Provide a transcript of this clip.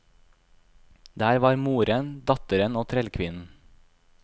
Der var moren, datteren og trellkvinnen.